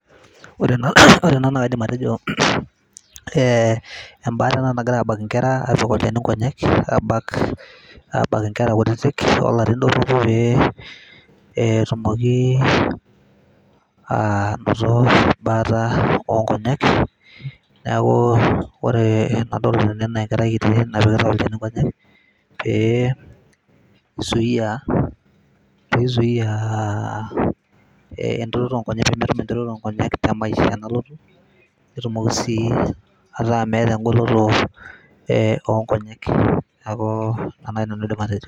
ore ena naa kaidim atejo eh, embaata ena nagirae abak inkera apik olchani inkonyek abak, abak inkera kutitik olarin dorropu pee etumoki anoto embaata onkonyek neeku ore enadol tene naa enkerai kiti napikitae olchani inkonyek pee isuia, pizuia entiroto onkonyek pemetum entiroto onkonyek te maisha nalotu netumoki sii ataa meeta engoloto eh, onkonyek neeku ina naaji nanu aidim atejo.